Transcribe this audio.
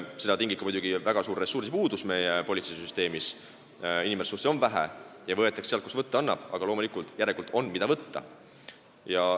Seda tingib muidugi ka väga suur ressursipuudus meie politseisüsteemis, inimressurssi on vähe ja võetakse sealt, kust võtta annab, aga loomulikult, järelikult on, mida võtta.